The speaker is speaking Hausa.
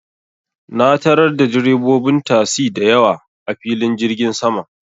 Na tarar da direbobin tasi da yawa, a filin jirgin saman.